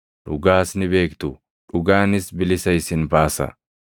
Dhugaas ni beektu; dhugaanis bilisa isin baasa.”